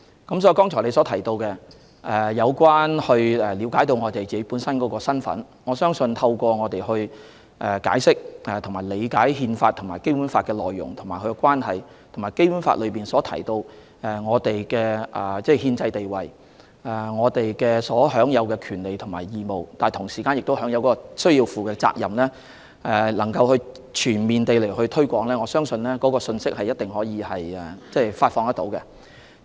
所以，議員剛才提及市民要了解自己的身份，我相信透過政府解釋和理解《憲法》和《基本法》的內容和關係，以及《基本法》內提及我們的憲制地位、所享有的權利和義務，但同時需要負上的責任，並全面進行推廣工作，一定能夠發放有關信息。